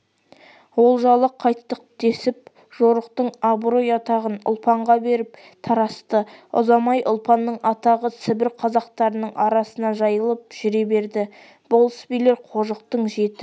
олжалы қайттық десіп жорықтың абырой-атағын ұлпанға беріп тарасты ұзамай ұлпанның атағы сібір қазақтарының арасына жайылып жүре берді болыс-билер қожықтың жеті